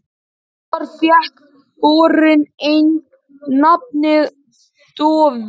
Síðar fékk borinn einnig nafnið Dofri.